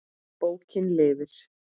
Bókin lifir.